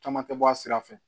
Caman tɛ bɔ a sira fɛ